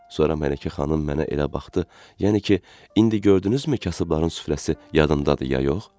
Sonra Mələkə xanım mənə elə baxdı, yəni ki, indi gördünüzmü kasıbların süfrəsi yadındadır ya yox?